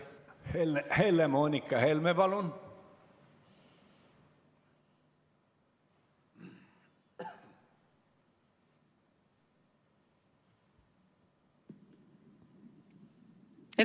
Helle-Moonika Helme, palun!